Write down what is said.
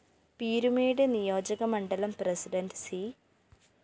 പീരുമേട് നിയോജകമണ്ഡലം president C